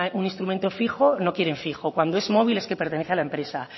un instrumento fijo no quieren fijo cuando es móvil es que pertenece a la empresa